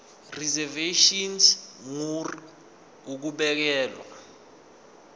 reservation ngur ukubekelwa